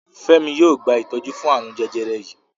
Femi yóò gba itọju fún arun jẹjẹrẹ yí.